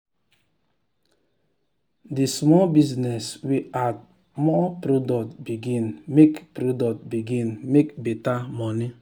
the small business wey add more product begin make product begin make better money.